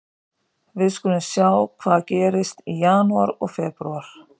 Við skulum sjá hvað gerist í janúar og febrúar.